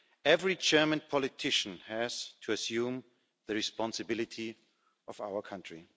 Every German politician has to assume the responsibility of our country.